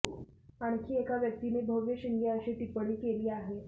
आणखी एका व्यक्तीने भव्य शिंगे अशी टिप्पणी केली आहे